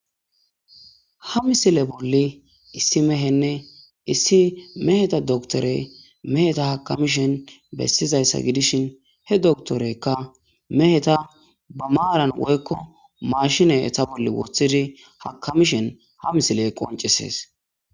Ha misile boli issi mehenne issi meheta doctorey meheta akamishin besizaysa gidishin. He doctoroyka meheta ba maran woykko machine eeta bola wothidi meheta akamishin ha misilen qonccises.